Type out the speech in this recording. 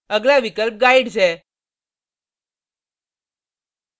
अगला विकल्प guides है